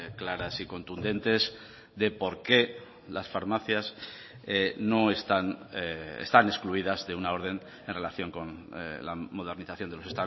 claras y contundentes de por qué las farmacias no están están excluidas de una orden en relación con la modernización de los